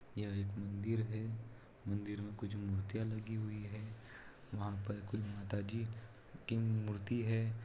यह एक मंदिर है मंदिर में कुछ मूर्तिया लगी हुई है वहां पर कोई माताजी की मूर्ति है।